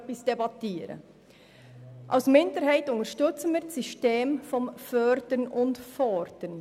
Als Minderheit unterstützen wir das System des Fördern und Forderns.